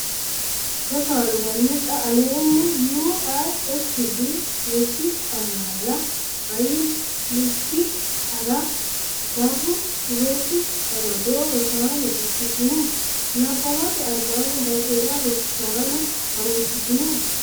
Rosaano, hanni xa aleenni U l S B MIkkI AMAlA AyIkkI ArrA Barru Rosi Amado Rosaano fushshitini? Nabbawate Albaanni daqiiqa Rosaano, ha’runsitini?